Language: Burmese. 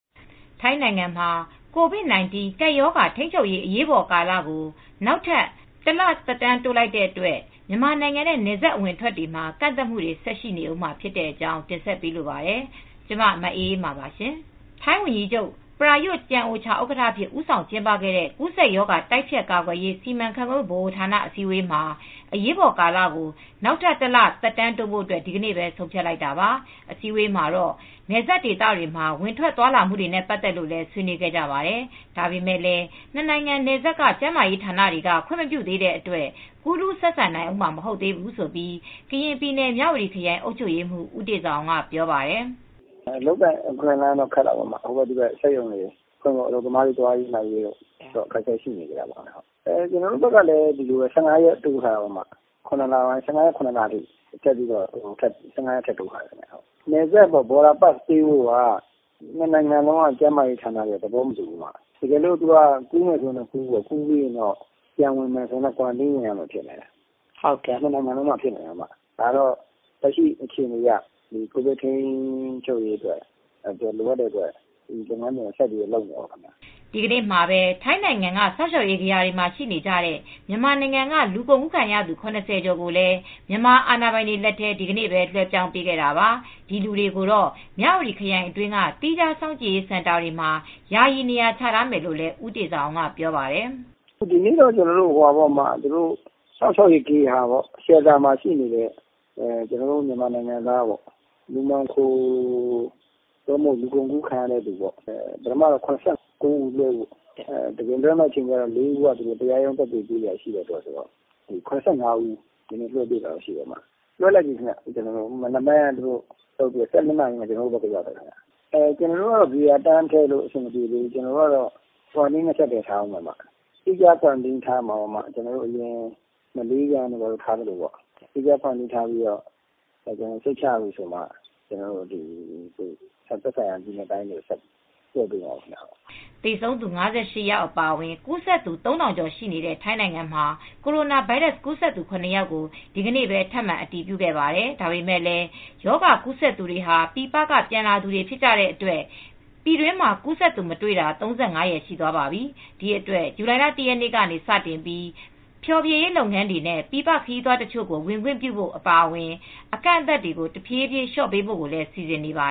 ထိုင်းနိုင်ငံမှာ COVID-19 ကပ်ရောဂါ ထိန်းချုပ်ရေး အရေးပေါ်ကာလကို နောက်ထပ် ၁ လ သက်တမ်း တိုးလိုက်တဲ့အတွက် မြန်မာနိုင်ငံနဲ့ နယ်စပ်အဝင်အထွက်တွေမှာ ကန့်သတ်မှုတွေ ဆက်ရှိနေဦးမှာ ဖြစ်တဲ့အကြောင်း ဗွီအိုအေမြန်မာပိုင်းသတင်းထောက် မအေးအေးမာက တင်ဆက်ပေးပါမယ်။ ထိုင်းဝန်ကြီးချုပ်Prayut Chan-o-cha ဥက္ကဋ္ဌအဖြစ် ဦးဆောင်ကျင်းပခဲ့တဲ့ ကူးစက်ရောဂါ တိုက်ဖျက်ကာကွယ်ရေး စီမံခန့်ခွဲမှုဗဟိုဌာန အစည်းအဝေးမှာ အရေးပေါ်ကာလကို နောက်ထပ် ၁ လ သက်တမ်းတိုးဖို့ ဒီကနေ့ပဲ ဆုံးဖြတ်လိုက်တာပါ။ အစည်းအဝေးမှာတော့ နယ်စပ်ဒေသတွေမှာ ဝင်ထွက်သွားလာမှုတွေနဲ့ ပတ်သက်လို့လည်း ဆွေးနွေးခဲ့ကြပါတယ်။ ဒါပေမဲ့လည်း နှစ် နိုင်ငံ နယ်စပ်က ကျန်းမာရေးဌာနတွေက ခွင့်မပြုသေးတဲ့အတွက် ကူးလူဆက်ဆံနိုင်ဦးမှာ မဟုတ်သေးဘူးလို့ ကရင်ပြည်နယ် မြဝတီခရိုင် အုပ်ချုပ်ရေးမှူး ဦးတေဇာအောင်က ပြောပါတယ်။ "အလုပ်အကိုင် အခွင့်အလမ်းတွေအတွက်ကတော့ ခက်ခဲနေအုန်းမှာပဲ ဟိုဘက်၊ ဒီဘက်စက်ရုံတွေ ဖွင့်ဖို့ အလုပ်သမားတွေ သွားရေးလာရေး အခက်အခဲရှိနေတုန်းပဲ ကျနော်တို့ဘက်ကလည်း ဇူလိုင်လ ၁၅ ရက်နေ့ထိ ပိတ်ထားအုန်းမယ်။ နယ်စပ် border pass ပေးဖို့က နှစ်နိုင်ငံလုံးက ကျန်းမာရေးဌာနတွေက သဘောမတူကြဘူးခင်ဗျ။ တကယ်လို့ ကူးမယ်ဆိုရင်တော့ကူး ဒါပေမဲ့ နှစ်ဘက်လုံးက စောင့်ကြည့်နေရာတွေမှာ နေရမယ်။ အဲဒါမျိုးဖြစ်နေတယ်။ ဒါကတော့ လက်ရှိအခြေအနေရ ကိုဗစ်ထိန်းချုပ်ရေးအတွက် ကျနော်တို့တော့လုပ်နေရတာပဲ။" ဒီကနေ့မှာပဲ ထိုင်းနိုင်ငံက စောင့်ရှောက်ရေးဂေဟာတွေမှာ ရှိနေကြတဲ့ မြန်မာနိုင်ငံက လူကုန်ကူးခံရသူ ၇၀ ကျော်ကိုလည်း မြန်မာအာဏာပိုင်တွေလက်ထဲ ဒီကနေ့ပဲ လွှဲပြောင်းပေးခဲ့တာပါ။ ဒီလူတွေကိုတော့ မြဝတီခရိုင်တွင်းက သီးခြားစောင့်ကြည့်ရေး စင်တာတွေမှာ ယာယီနေရာချထားမယ်လို့လည်း ဦးတေဇာအောင်က ပြောပါတယ်။ "ဒီနေ့တော့ စောင့်ရှောက်ရေးဂေဟာမှာ ရှိနေတဲ့ မြန်မာနိုင်ငံသား လူမှောင်ခို လူကုန်ကူးခံရသူပထမ လူ ၇၉ ဦး လွဲှမလို့ နောက်မှာ ၄ ယောက်ကတော့ တရားရုံးတက်ဖို့ လိုနေသေးလို့ ကျန်နေခဲ့တယ်။ ၇၅ ဦး ကျနော်တို့ကို လွဲှလိုက်တယ်။ မနက်ပိုင်းက လွဲှပြီး နေ့လယ် ၁၂ နာရီလောက် ကျနော်တို့ဆီကို ရောက်တယ်။ သူတို့ကိုတော့ ဆက်လွဲလို့ မရသေးဘူး။ စောင့်ကြည့်ထားမယ်။ သီးခြားစောင့်ကြည့်တာ လုပ်မယ်။ မလေးပြန်တို့၊ ဘာတို့ကို လုပ်သလိုပေါ့ သီခြားထားပြီးမှ သက်ဆိုင်ရာပြည်နယ်နဲ့ တိုင်းကိုလွဲှပါမယ်။" သေဆုံးသူ ၅၈ ယောက် အပါအဝင် ကူးစက်သူ ၃,၀၀၀ ကျော်ရှိတဲ့ ထိုင်းနိုင်ငံမှာ ကိုရိုနာဗိုင်းရပ်စ် ကူးစက်သူ ၇ ယောက်ကို ဒီကနေ့ ထပ်မံအတည်ပြုခဲ့ပါတယ်။ ဒါပေမဲ့လည်း ရောဂါကူးစက်သူတွေဟာ ပြည်ပက ပြန်လာသူတွေ ဖြစ်ကြတဲ့အတွက် ပြည်တွင်းမှာ ကူးစက်မှုမတွေ့တာ ၃၅ ရက် ရှိသွားပါပြီ။ ဒီအတွက်လည်း ဇူလိုင်လ ၁ ရက်နေ့ကစပြီး ဖျော်ဖြေရေးလုပ်ငန်းတွေနဲ့ ပြည်ပခရီးသွားတချို့ကို ဝင်ခွင့်ပြုဖို့ အပါအဝင် အကန့်အသတ်တွေကို တဖြည်းဖြည်း လျှော့ပေးဖို့လည်း စီစဉ်နေပါ